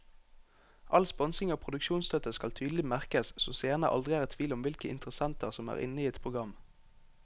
All sponsing og produksjonsstøtte skal tydelig merkes så seerne aldri er i tvil om hvilke interessenter som er inne i et program.